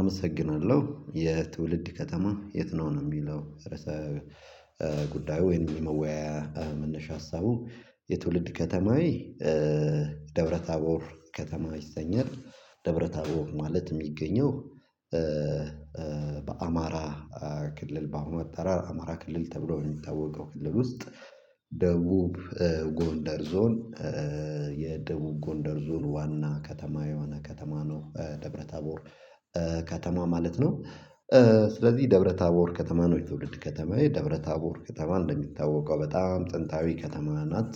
አመሰግናለሁ። የትውልድ ከተማህ የት ነው? ነው የሚለው ርዕሰ ጉዳዩ ወይም የመወያያ መነሻ ሀሳቡ። የትውልድ ከተማዬ ደብረታቦር ከተማ ይሰኛል። ደብረ ታቦር ማለት የሚገኘው በአማራ ክልል በአሁኑ አጠራር አማራ ክልል ተብሎ ነው የሚታወቀው ክልል ውስጥ ደቡብ ጎንደር ዞን የደቡብ ጎንደር ዞን ዋና ከተማ የሆነ ከተማ ነው ደብረታቦር ከተማ ማለት ነው። ስለዚህ ደብረ ታቦር ከተማ ነው የትውልድ ከተማዬ። ደብረ ታቦር ከተማ እንደሚታወቀው በጣም ጥንታዊ ከተማ ናት።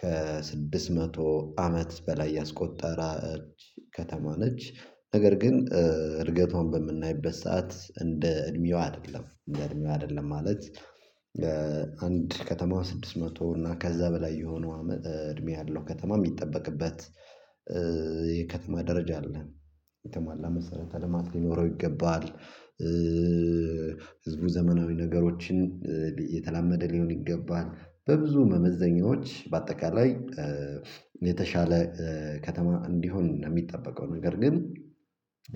ከስድስት መቶ አመት በላይ ያስቆጠረች ከተማ ነች። ነገር ግን እድገቷን በምናይበት ሰዓት እንደ እድሜዋ አይደለም። እንደ እድሜዋ አይደለም ማለት አንድ ከተማ ስድስት መቶ እና ከዛ በላይ የሆነው እድሜ ያለው ከተማ የሚጠበቅበት የከተማ ደረጃ አለ። የተሟላ መሰረተ ልማት ሊኖረው ይገባል። ህዝቡ ዘመናዊ ነገሮችን የተላመደ ሊሆን ይገባል። በብዙ መመዘኛዎች በአጠቃላይ የተሻለ ከተማ እንዲሆን ነው የሚጠበቀው። ነገር ግን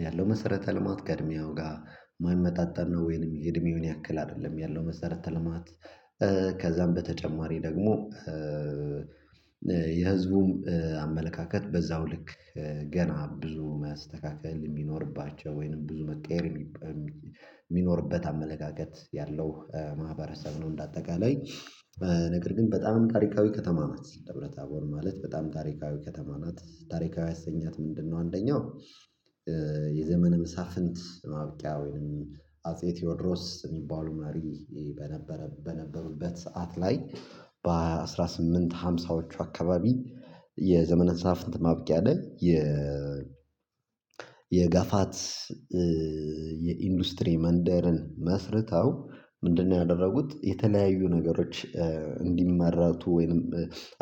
ያለው መሰረተ ልማት ከዕድሜዋ ጋር የማይመጣጠን ነው ወይንም የእድሜውን ያክል አይደለም ያለው መሰረተ ልማት። ከዛም በተጨማሪ ደግሞ የህዝቡም አመለካከት በዛው ልክ ገና ብዙ መስተካከል የሚኖርባቸው ወይንም ብዙ መቀየር የሚኖርበት አመለካከት ያለው ማህበረሰብ ነው እንደ አጠቃላይ። ነገር ግን በጣም ታሪካዊ ከተማ ናት ደብረ ታቦር ማለት በጣም ታሪካዊ ከተማ ናት። ታሪካዊ ያሰኛት ምንድነው አንደኛው የዘመነ መሳፍንት ማብቂያ ወይንም አጼ ቴዎድሮስ የሚባሉ መሪ በነበረ በነበሩበት ሰዓት ላይ በአንድ ሺህ ስምንት መቶ አምሳዎቹ አካባቢ የዘመነ መሳፍንት ማብቂያ ላይ የ የጋፋት የኢንዱስትሪ መንደርን መስርተው ምንድነው ያደረጉት የተለያዩ ነገሮች እንዲመረቱ ወይንም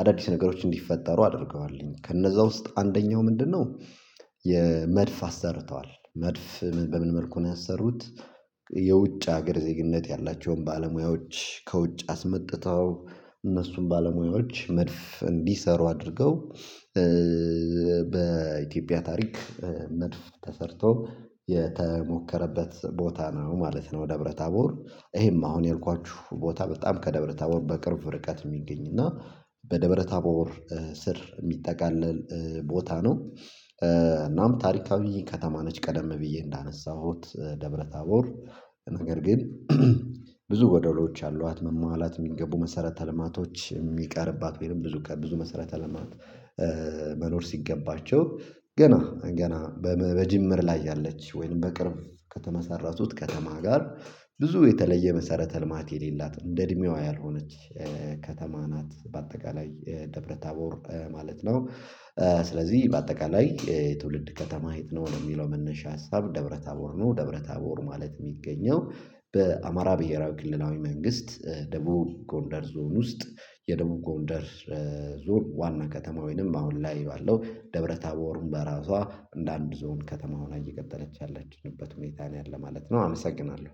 አዳዲስ ነገሮች እንዲፈጠሩ አድርገዋልኝ። ከነዛ ውስጥ አንደኛው ምንድነው የመድፍ አሰርተዋል መድፍ በምን መልኩ ነው ያሰሩት የውጭ ሀገር ዜግነት ያላቸውን ባለሙያዎች ከውጭ አስመጥተው እነሱን ባለሙያዎች መድፍ እንዲሰሩ አድርገው በኢትዮጵያ ታሪክ መድፍ ተሰርቶ የተሞከረበት ቦታ ነው ማለት ነው ደብረ ታቦር። ይሄም አሁን ያልኳችሁ ቦታ በጣም ከደብረ ታቦር በቅርብ ርቀት የሚገኝ እና በደብረ ታቦር ስር የሚጠቃለል ቦታ ነው። እናም ታሪካዊ ከተማ ነች ቀደም ብዬ እንዳነሳሁት ደብረታቦር ነገር ግን ብዙ ጎዶሎዎች አሏት። መሟላት የሚገቡ መሰረተ ልማቶች የሚቀርባት ወይም ብዙ ከብዙ መሰረተ ልማት መኖር ሲገባቸው ገና ገና በጅምር ላይ ያለች ወይንም በቅርብ ከተመሰረቱት ከተማ ጋር ብዙ የተለየ መሰረተ ልማት የሌላት እንደ እድሜዋ ያልሆነች ከተማ ናት በአጠቃላይ ደብረ ታቦር ማለት ነው። ስለዚህ በአጠቃላይ የትውልድ ከተማህ የት ነው? ለሚለው መነሻ ሀሳብ ደብረ ታቦር ነው። ደብረ ታቦር ማለት የሚገኘው በአማራ ብሄራዊ ክልላዊ መንግስት ደቡብ ጎንደር ዞን ውስጥ የደቡብ ጎንደር ዞን ዋና ከተማ ወይንም አሁን ላይ ባለው ደብረ ታቦርም በራሷ እንደ እንደ አንድ ዞን ከተማ ሆና እየቀጠለች ያለችበት ሁኔታ ነው ያለ ማለት ነው። አመሰግናለሁ።